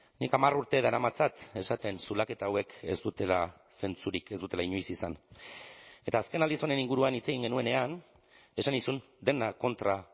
nik hamar urte daramatzat esaten zulaketa hauek ez dutela zentzurik ez dutela inoiz izan eta azken aldiz honen inguruan hitz egin genuenean esan nizun dena kontra